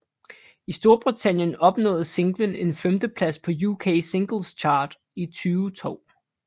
I Storbritannien opnåede singlen en femteplads på UK Singles Chart i 2002